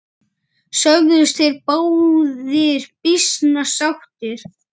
Sögðust þeir báðir býsna sáttir.